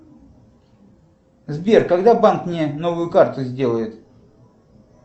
сбер когда банк мне новую карту сделает